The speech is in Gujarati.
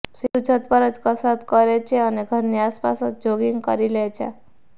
સિંધૂ છત પર જ કસરત કરે છે અને ઘરની આસપાસ જ જોગિંગ કરી લે છે